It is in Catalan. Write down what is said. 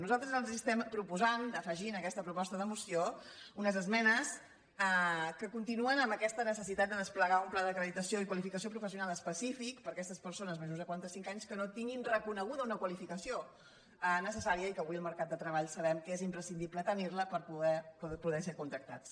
nosaltres els estem proposant d’afegir en aquesta proposta de moció unes esmenes que continuen amb aquesta necessitat de desplegar un pla d’acreditació i qualificació professional específic per a aquestes persones majors de quaranta cinc anys que no tinguin reconeguda una qualificació necessària i que avui al mercat de treball sabem que és imprescindible tenir la per poder ser contractats